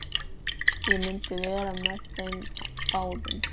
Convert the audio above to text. Ég myndi vera með þeim báðum!